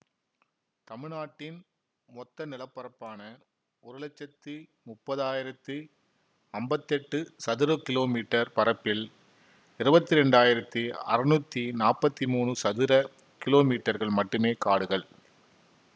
தமிழ்நாட்டின் மொத்த நிலப்பரப்பான ஒரு லட்சத்தி முப்பதாயிரத்தி அம்பத்தெட்டு சதுர கிலோ மீட்டர் பரப்பில் இருவத்தி இரண்டாயிரத்தி அறுநூத்தி நாப்பத்தி மூனு சதுர கிலோமீட்டர்கள் மட்டுமே காடுகள்